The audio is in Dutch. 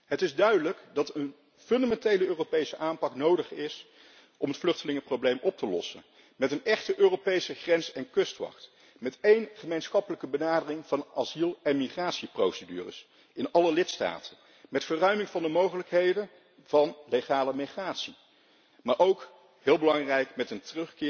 Het is duidelijk dat een fundamentele Europese aanpak nodig is om het vluchtelingenprobleem op te lossen, met een echte Europese grens en kustwacht, met één gemeenschappelijke benadering van asiel en migratieprocedures in alle lidstaten, met verruiming van de mogelijkheden van legale migratie, maar ook heel belangrijk met een